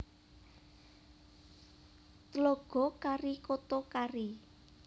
Tlaga Kari Koto Kari